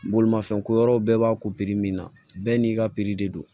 Bolimafɛn ko yɔrɔ bɛɛ b'a ko min na bɛɛ n'i ka de don